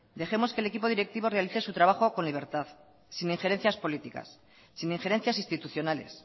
dejemos que el equipo directivo realice su trabajo con libertad sin ingerencias políticas sin ingerencias institucionales